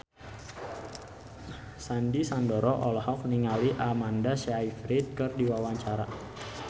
Sandy Sandoro olohok ningali Amanda Sayfried keur diwawancara